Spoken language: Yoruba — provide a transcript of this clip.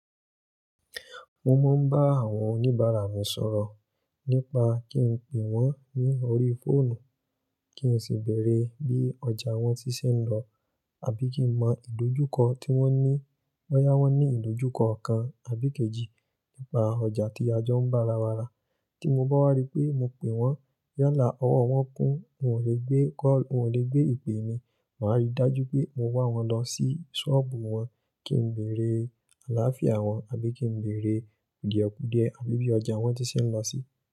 Mo máa ń bá àwọn oníbàárà mi sọ̀rọ̀ nípa kí n pè wọ́n ní orí fóònù, kí n sì bèèrè bí ọjà wọ́n ti ṣe ń lọ àbí kí n mọ ìdójúkọ tí wọ́n ní. Boyá wọ́n ní ìdójúkọ kan àbí ikejì nípa ọjà tí ajo ń bá ara wa rà. Tí mo bá wá rí pé mo pè wọ́n yálà ọwọ́ wọ́n kún, wọn ò le gbé kọ́, wọn ò le gbé ìpè mi, màá rí dájú pé mo wa wọ́n lọ sí ṣọ́ọ̀bù wọn kí n bèèrè àlááfíà wọ́n àbí kí n bèèrè kudiekudie àbí bí ọjà wọ́n ti ṣe ń lọ sí.